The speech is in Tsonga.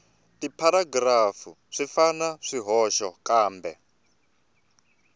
tipharagirafu swi na swihoxo kambe